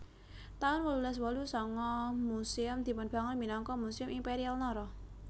taun wolulas wolu sanga Museum dipunbangun minangka Museum Imperial Nara